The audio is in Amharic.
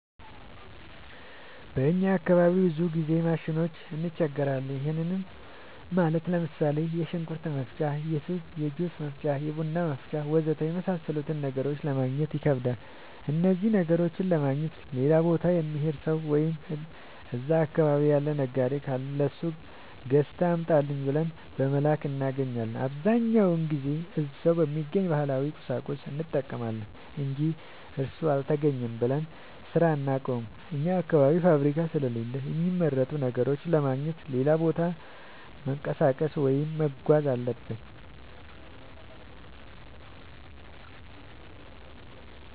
በእኛ አካባቢ ብዙ ጊዜ ማሽኖች እንቸገራለን። ይህም ማለት ለምሳሌ፦ የሽንኩርት መፍጫ፣ የጁስ መፍጫ፣ የቡና መፍጫ.... ወዘተ የመሣሠሉትን ነገሮች ለማገግኘት ይከብዳሉ። እነኝህን ነገሮች ለማግኘት ሌላ ቦታ የሚሄድ ሠው ወይም እዛ አካባቢ ያለ ነጋዴ ካለ ለሱ ገዝተህ አምጣልኝ ብለን በመላክ እናገኛለን። አብዛኛውን ጊዜ ግን እዛው በሚገኝ ባህላዊ ቁሳቁስ እንጠቀማለን አንጂ እሱ አልተገኘም ብለን ስራ አናቆምም። አኛ አካባቢ ፋብሪካ ስለሌለ የሚመረቱ ነገሮችን ለማግኘት ሌላ ቦታ መንቀሳቀስ ወይም መጓዝ አለብን።